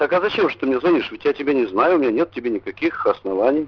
так а зачем же ты мне звонишь ведь я тебя не знаю у меня нет к тебе никаких оснований